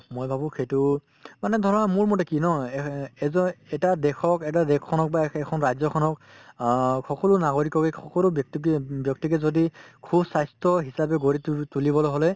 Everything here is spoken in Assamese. মই ভাবো সেইটো মানে ধৰা মোৰ মতে কি ন এসেএজএটা দেশক এটা দেশখনক বা এখ এখন ৰাজ্যখনক অ সকলো নাগৰিককে সকলো ব্যক্তিতে ব্যক্তিকে যদি সুস্বাস্থ্য হিচাপে গঢ়ি তু তুলিবলৈ হলে